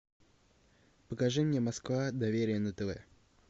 покажи мне москва доверие на тв